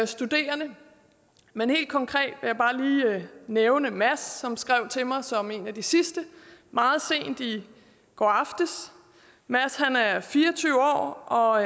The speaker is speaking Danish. studerende men helt konkret vil jeg bare lige nævne en mads som skrev til mig som en af de sidste meget sent i går aftes mads er fire og tyve år og